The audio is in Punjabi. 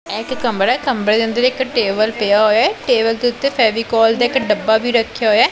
ਇਹ ਇੱਕ ਕਮਰਾ ਐ ਕਮਰੇ ਦੇ ਅੰਦਰ ਇੱਕ ਟੇਬਲ ਪਿਆ ਹੋਇਆ ਐ ਟੇਬਲ ਦੇ ਉੱਤੇ ਫੈਵੀਕੋਲ ਦੇ ਇੱਕ ਡੱਬਾ ਵੀ ਰੱਖਿਆ ਹੋਇਆ ਐ।